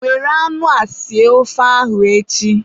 Were anụ a sie ofe ahụ echi!